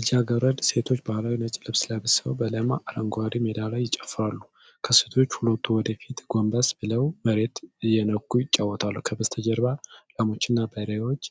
ልጃገረድ ሴቶች ባህላዊ ነጭ ልብስ ለብሰው በለማ አረንጓዴ ሜዳ ላይ ይጨፍራሉ። ከሴቶቹ ሁለቱ ወደ ፊት ጎንበስ ብለው መሬቱን እየነኩ ይጫወታሉ፣ ከበስተጀርባ ላሞችና በሬዎች